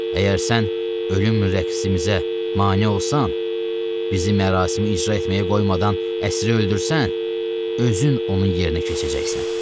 Əgər sən ölüm rəqsimizə mane olsan, bizi mərasimi icra etməyə qoymadan əsiri öldürsən, özün onun yerinə keçəcəksən.